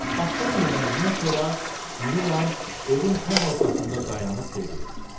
Axşam yeməyindən sonra İri Lam evin tən ortasında dayanıb dedi: